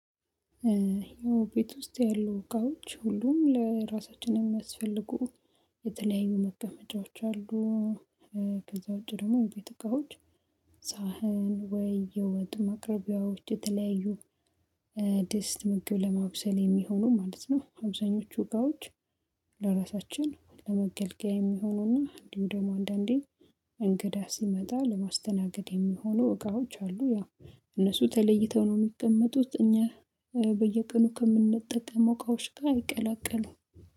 ያው ቤት ውስጥ ያሉ እቃውች ሁሉም ለራሳችን የሚያስፈልጉ የተለያዩ መቀመጫዎች አሉ፣ ከዛ ውጪ ደግሞ የቤት እቃዎች ሳህን ወይ የወጥ ማቅረቢያዎች የተለያዩ ድስጥ ምግብ ለማብሰል የሚሆኑ ማለት ነው አብዛኞቹ እቃዎች ለራሳችን ለመገልገያ የሚሆኑና እንዲሁም ደግሞ አንዳንዴ እንግዳ ሲመጣ ለማስተናገድ የሚሆኑ እቃዎች አሉ ያው እነሱ ተለይተው ነው የሚቀመጡት እኛ በየቀኑ ከምንጠቀመው እቃዎች ጋ አይቀላቀሉም።